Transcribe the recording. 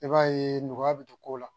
I b'a ye nɔgɔya bɛ don ko la